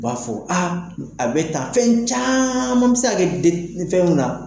U b'a fɔ a bɛ tan fɛn caman bɛ se ka kɛ fɛnw na.